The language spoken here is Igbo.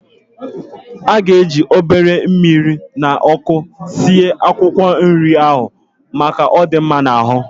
A ga-eji obere mmiri na ọkụ sie akwụkwọ nrị ahụ, maka, ọ dị mma n'ahụ